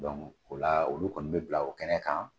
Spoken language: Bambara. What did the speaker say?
o la olu kɔni bɛ bila o kɛnɛ kan